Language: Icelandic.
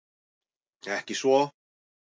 Ekki svo